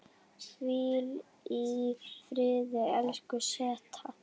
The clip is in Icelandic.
Hvíl í friði, elsku Setta.